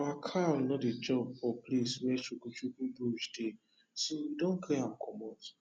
our cow no dey chop for place wey chukchuk brush dey so we don clear am comot